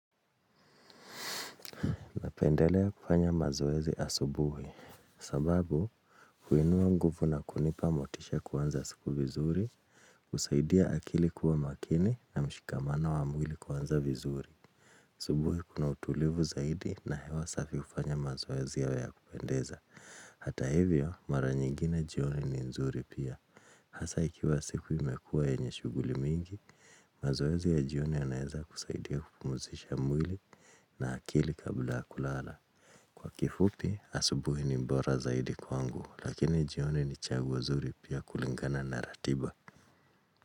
Napendelea kufanya mazoezi asubuhi, sababu kuinua nguvu na kunipa motisha ya kuanza siku vizuri, husaidia akili kuwa makini na mshikamano wa mwili kuanza vizuri. Asubuhi kuna utulivu zaidi na hewa safi hufanya mazoezi yawe ya kupendeza. Hata hivyo, mara nyingine jioni ni nzuri pia. Hasa ikiwa siku imekuwa yenye shuguli mingi, mazoezi ya jioni yanaeza kusaidia kupumuzisha mwili na akili kabla ya kulala. Kwa kifupi, asubuhi ni bora zaidi kwangu lakini jioni ni chaguo zuri pia kulingana na ratiba.